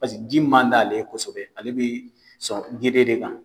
ji man di ale ye kosɛbɛ ale bɛ sɔn geren de kan